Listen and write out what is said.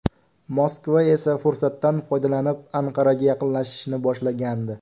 Moskva esa fursatdan foydalanib Anqaraga yaqinlashishni boshlagandi .